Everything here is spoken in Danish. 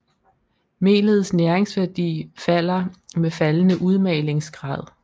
Melets næringsværdi falder med faldende udmalingsgrad